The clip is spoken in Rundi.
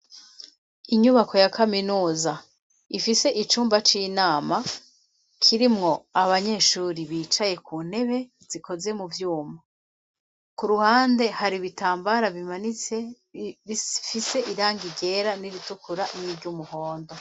Inyubako ya kaminuza ifise icumba c'inama kirimwo abanyeshuri bicaye ku ntebe zikoze mu vyuma ku ruhande hari ibitambara bimanitse bifise irangi ryera n'iritukura n'iry'umuhondo.